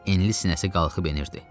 Enli sinəsi qalxıb enirdi.